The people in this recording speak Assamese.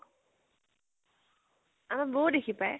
আমাৰ বৌও দেখি পায়।